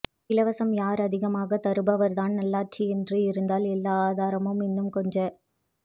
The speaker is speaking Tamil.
இலவசம் யார் அதிகமாக தருபவர் தான் நல் ஆட்சி என்று இருந்தால் எல்லா ஆதாரமும் இன்னும் கொஞ்ச